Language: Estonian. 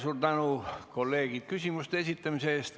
Suur tänu, kolleegid, küsimuste esitamise eest!